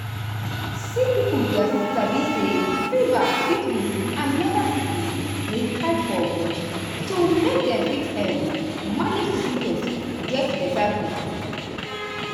sick pipo gatz sabi say fever fit mean say another sickness dey hide for body so make dem fit um manage di symptoms get beta quick.